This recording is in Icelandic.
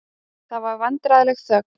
Það var vandræðaleg þögn.